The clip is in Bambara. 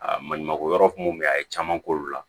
Aa maɲumako yɔrɔ kun mun be yen a ye caman k'olu la